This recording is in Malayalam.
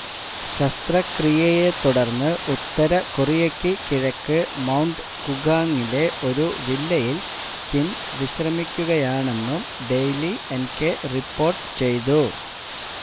ശസ്ത്രക്രിയയെത്തുടര്ന്ന് ഉത്തര കൊറിയയ്ക്കു കിഴക്ക് മൌണ്ട് കുംഗാങ്ങിലെ ഒരു വില്ലയില് കിം വിശ്രമിക്കുകയാണെന്നും ഡെയ്ലി എന്കെ റിപ്പോര്ട്ട് ചെയ്തു